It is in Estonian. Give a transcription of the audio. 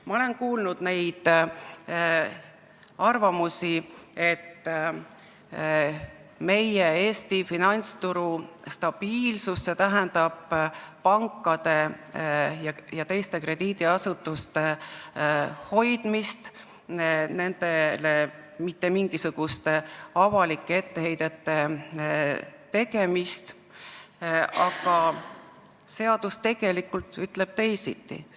Ma olen kuulnud arvamusi, et Eesti finantsturu stabiilsus tähendab pankade ja teiste krediidiasutuste hoidmist, nendele mitte mingisuguste avalike etteheidete tegemist, aga seadus ütleb teisiti.